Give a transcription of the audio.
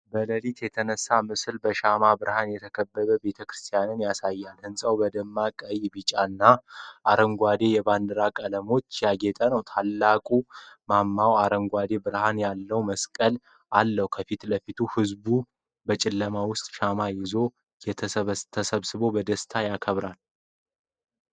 በሌሊት የተነሳው ምስል በሻማ ብርሃን የተከበበ ቤተክርስቲያንን ያሳያል። ሕንጻው በደማቅ ቀይ፣ ቢጫና አረንጓዴ የባንዲራ ቀለሞች ያጌጠ ነው፡፡ ታላቁ ማማው አረንጓዴ ብርሃን ያለው መስቀል አለው። ከፊት ለፊት ብዙ ሕዝብ በጨለማው ውስጥ ሻማ ይዘው ተሰብስበው በደስታ ያከብራሉ።